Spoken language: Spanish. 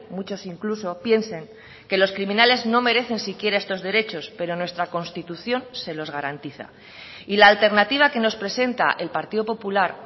muchos incluso piensen que los criminales no merecen siquiera estos derechos pero nuestra constitución se los garantiza y la alternativa que nos presenta el partido popular